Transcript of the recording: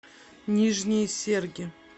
нижние серги